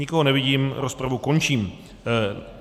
Nikoho nevidím, rozpravu končím.